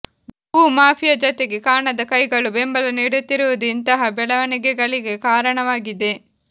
ಭೂ ಮಾಫಿಯಾ ಜತೆಗೆ ಕಾಣದ ಕೈಗಳು ಬೆಂಬಲ ನೀಡುತ್ತಿರುವುದು ಇಂತಹ ಬೆಳವಣಿಗೆಗಳಿಗೆ ಕಾರಣವಾಗಿದೆ